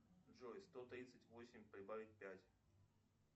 джой сто тридцать восемь прибавить пять